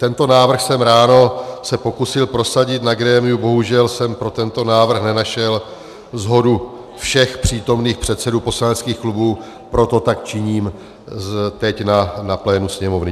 Tento návrh jsem ráno se pokusil prosadit na grémiu, bohužel jsem pro tento návrh nenašel shodu všech přítomných předsedů poslaneckých klubů, proto tak činím teď na plénu Sněmovny.